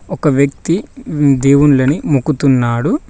ఒక వ్యక్తి వ్ దేవుళ్ళని మొక్కుతున్నారు.